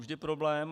Vždy problém.